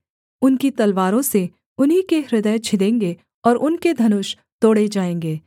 उनकी तलवारों से उन्हीं के हृदय छिदेंगे और उनके धनुष तोड़े जाएँगे